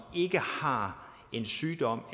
ikke har en sygdom